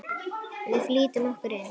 Við flýtum okkur inn.